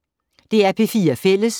DR P4 Fælles